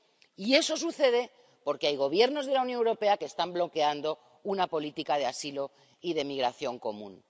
Y eso sucede porque hay Gobiernos de la Unión Europea que están bloqueando una política de asilo y de migración común.